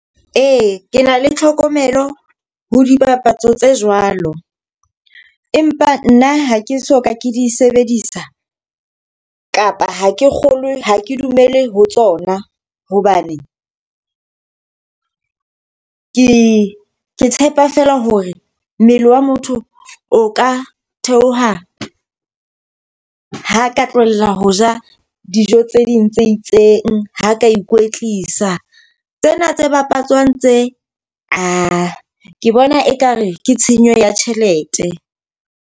Ee, ke na le tlhokomelo ho dipapatso tse jwalo. Empa nna ha ke soka ke di sebedisa kapa ha ke kgolwe ha ke dumele ho tsona. Hobane ke tshepa fela hore mmele wa motho o ka theoha ha ka tlohella ho ja dijo tse ding tse itseng, ha ka ikwetlisa. Tsena tse bapatswang tse ae ke bona ekare ke tshenyo ya tjhelete.